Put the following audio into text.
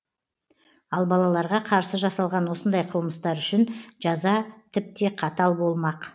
ал балаларға қарсы жасалған осындай қылмыстар үшін жаза тіпте қатал болмақ